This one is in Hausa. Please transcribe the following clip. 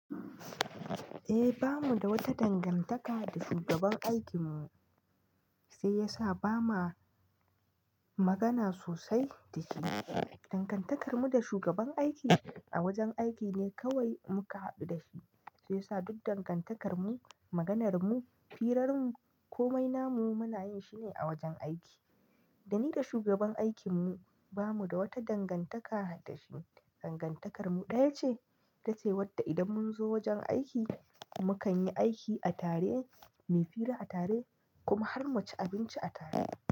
Eh, ba mu da wata dangantaka da shugaban aikinmu, shi ya sa ba ma magana sosai da shi. Dangantakar mu da shugaban aiki a wajen aiki ne kawai muka haɗu da shi, shi ya sa duk dangantakar mu, maganar mu, firarmu komai na mu muna yin shi ne a wajen aiki. Da ni da shugaban aikin mu ba mu da wata dangantaka da shi. Dangantakar mu ɗaya ce, ita ce wadda idan mun zo wajen aiki, mu kan yi aiki a tare, mu yi fira a tare kuma har mu ci abinci a tare.